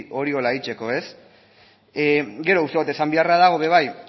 horrela egiteko ez gero uste dut esan beharra dagoela ere bai